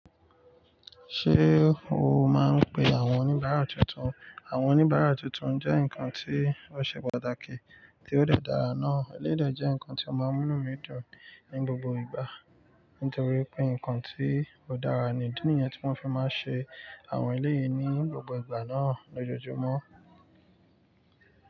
Ṣé o máa ń pe àwọn oníbàárà tuntun? Àwọn oníbàárà tuntun jẹ́ nǹkan tí ó ṣe pàtàkì tí ó de dára náà. Elédè jẹ́ ǹkan tí ó máa ń mímú mí dùn ní gbogbo ìgbà nítorí pé nǹkan tí ó dára ni. Idi niyẹn tí wọn fi máa n ṣe àwọn eléyìí ní gbogbo ìgbà náà lójoojúmọ́.